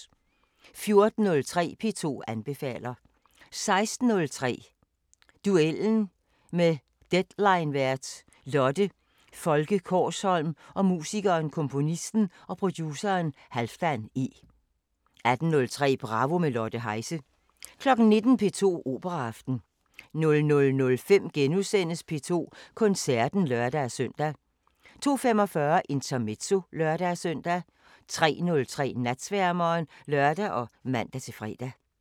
14:03: P2 anbefaler 16:03: Duellen med deadlinevært Lotte Folke Kaarsholm og musikeren, komponisten og produceren Halfdan E 18:03: Bravo – med Lotte Heise 19:00: P2 Operaaften 00:05: P2 Koncerten *(lør-søn) 02:45: Intermezzo (lør-søn) 03:03: Natsværmeren (lør og man-fre)